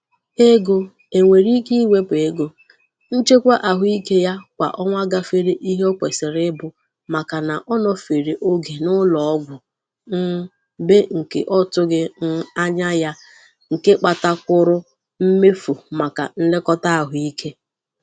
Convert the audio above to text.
Ego e nwere ike iwepu n'ego nchekwa ahụike ya kwà ọnwa gafere ihe o kwesịrị ịbụ maka na ọ nọfere oge n'ụlọọgwu um be nke ọ tụghi um anya ya nke kpata kwuru mmefu maka nlekọta ahụike.